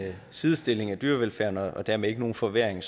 sidestilling af dyrevelfærden og dermed ikke nogen forværring